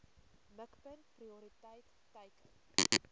mikpunt prioriteit teiken